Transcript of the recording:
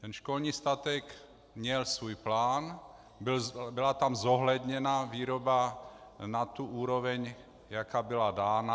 Ten školní statek měl svůj plán, byla tam zohledněna výroba na tu úroveň, jaká byla dána.